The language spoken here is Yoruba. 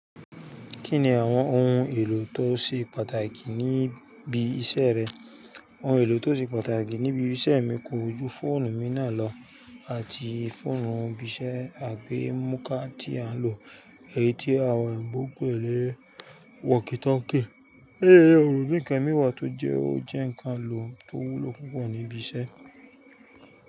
Kí ni àwọn ohun èlò tó ṣe pàtàkì níbi iṣẹ́ rẹ? Ohun èlò tó ṣe pàtàkì níbi iṣẹ́ mi ko ju fóònù mi náà lọ àti fóònù ibi iṣẹ́ àgbẹ́ múkà tí à ń lò, èyí tí àwọn èèbú pè ni wọkìtókè. Éèo, òòlù bí i kẹ́míwà tó jẹ́ ó jẹ́ ǹkan lò tó wúlò púpọ̀ níbi iṣẹ́.